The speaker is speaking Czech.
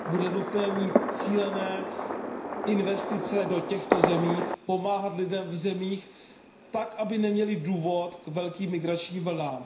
Bude nutné mít cílené investice do těchto zemí, pomáhat lidem v zemích tak, aby neměli důvod k velkým migračním vlnám.